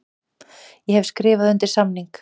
Ég hef skrifað undir samning.